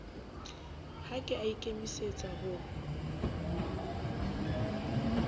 ha ke a ikemisetsa ho